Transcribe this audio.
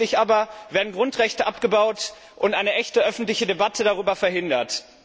Tatsächlich aber werden Grundrechte abgebaut und eine echte öffentliche Debatte darüber verhindert.